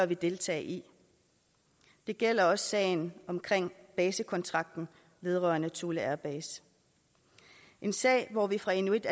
vi deltage i det gælder også sagen om basekontrakten vedrørende thule air base en sag hvor vi fra inuit